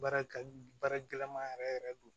Baara ka baara gɛlɛma yɛrɛ yɛrɛ don